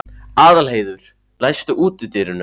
Aðalheiður, læstu útidyrunum.